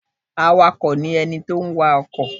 Awakọ ní ẹní ti n wa ọkọ.